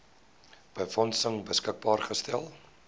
befondsing beskikbaar gestel